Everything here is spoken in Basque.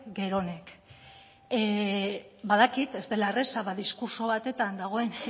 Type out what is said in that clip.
geronek badakit ez dela erraza ba diskurtso batetan dagoen